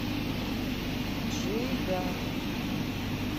джига